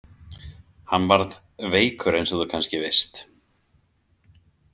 Hann varð veikur eins og þú kannski veist.